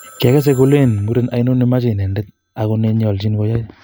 Kiogose kolelen muren ainon nemoche inendet ago ne nenyoljin koya.